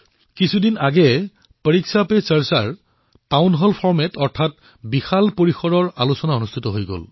কিছুদিন পূৰ্বে দিল্লীৰ টাউন হলত পৰীক্ষা পে চৰ্চা শীৰ্ষত এক বৃহৎ আয়োজন হৈছিল